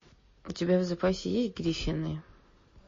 у тебя в запасе есть гриффины